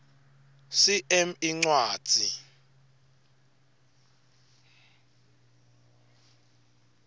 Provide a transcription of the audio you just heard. cm incwadzi